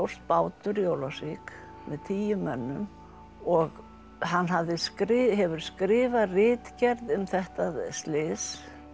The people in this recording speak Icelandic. bátur í Ólafsvík með tíu mönnum og hann hefur skrifað hefur skrifað ritgerð um þetta slys